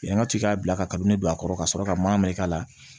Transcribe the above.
Yan ka ce ka bila kabini ne don a kɔrɔ ka sɔrɔ ka marika la